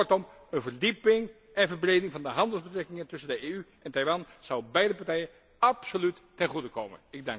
Kortom, een verdieping en verbreding van de handelsbetrekkingen tussen de EU en Taiwan zouden beide partijen absoluut ten goede komen.